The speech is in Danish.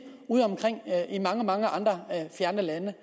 udeomkring i mange mange andre fjerne lande